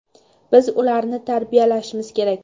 Biz ularni tarbiyalashimiz kerak.